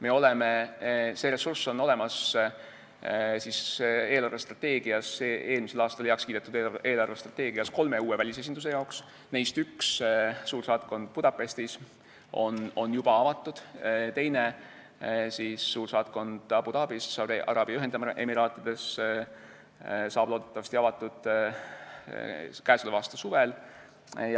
Eelmisel aastal heaks kiidetud eelarvestrateegias on olemas ressurss kolme uue välisesinduse jaoks, neist üks, suursaatkond Budapestis, on juba avatud, teine, suursaatkond Abu Dhabis Araabia Ühendemiraatides, saab loodetavasti avatud käesoleva aasta suvel.